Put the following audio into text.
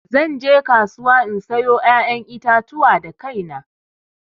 Zan je kasuwa in sayo ƴaƴan itatuwa da kaina.